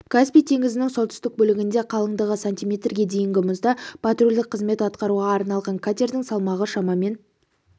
каспий теңізінің солтүстік бөлігінде қалыңдығы сантиметрге дейінгі мұзда патрульдік қызмет атқаруға арналған катердің салмағы шамамен